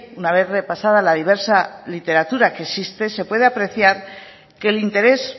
una vez repasada la diversa literatura que existe se puede apreciar que el interés